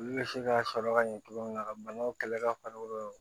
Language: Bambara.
Olu bɛ se ka sɔrɔ ka ɲɛ cogo min na ka banaw kɛlɛ ka far'i kan